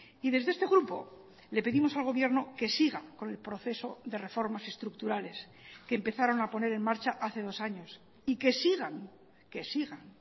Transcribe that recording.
y desde este grupo le pedimos al gobierno que siga con el proceso de reformas estructurales que empezaron a poner en marcha hace dos años y que sigan que sigan